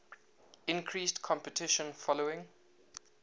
increased competition following